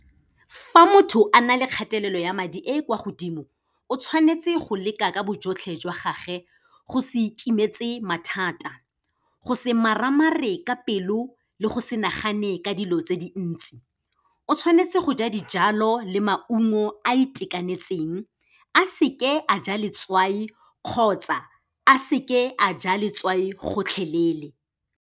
Fa motho a na le kgatelelo ya madi e e kwa godimo, o tshwanetse go leka ka bojotlhe jwa gage, go se ikemetse mathata. Go se maramare ka pelo le go se nagane ka dilo tse dintsi. O tshwanetse go ja dijalo le maungo a itekanetseng, a seke a ja letswai kgotsa a seke a ja letswai gotlhelele.